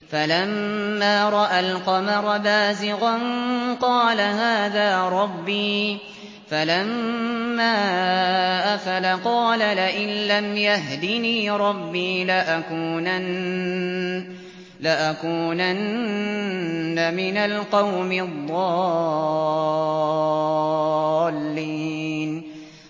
فَلَمَّا رَأَى الْقَمَرَ بَازِغًا قَالَ هَٰذَا رَبِّي ۖ فَلَمَّا أَفَلَ قَالَ لَئِن لَّمْ يَهْدِنِي رَبِّي لَأَكُونَنَّ مِنَ الْقَوْمِ الضَّالِّينَ